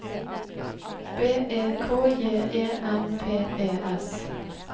B E K J E M P E S